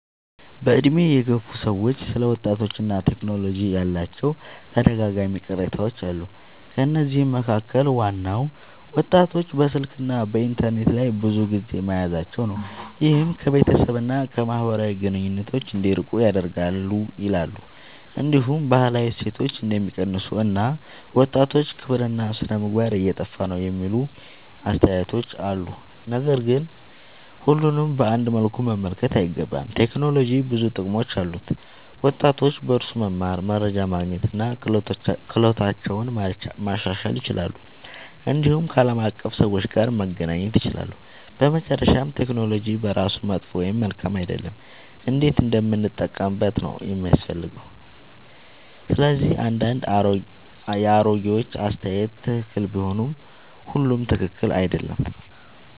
በዕድሜ የገፉ ሰዎች ስለ ወጣቶችና ቴክኖሎጂ ያላቸው ተደጋጋሚ ቅሬታዎች አሉ። ከነዚህ መካከል ዋናው ወጣቶች በስልክና በኢንተርኔት ላይ ብዙ ጊዜ መያዛቸው ነው፤ ይህም ከቤተሰብ እና ከማህበራዊ ግንኙነት እንዲርቁ ያደርጋል ይላሉ። እንዲሁም ባህላዊ እሴቶች እንደሚቀንሱ እና ወጣቶች ክብርና ሥነ-ምግባር እየጠፋ ነው የሚሉ አስተያየቶች አሉ። ነገር ግን ሁሉንም በአንድ መልኩ መመልከት አይገባም። ቴክኖሎጂ ብዙ ጥቅሞች አሉት፤ ወጣቶች በእርሱ መማር፣ መረጃ ማግኘት እና ክህሎታቸውን ማሻሻል ይችላሉ። እንዲሁም ከዓለም አቀፍ ሰዎች ጋር መገናኘት ይችላሉ። በመጨረሻ ቴክኖሎጂ በራሱ መጥፎ ወይም መልካም አይደለም፤ እንዴት እንደምንጠቀምበት ነው የሚያስፈልገው። ስለዚህ አንዳንድ የአሮጌዎች አስተያየት ትክክል ቢሆንም ሁሉም ትክክል አይደለም።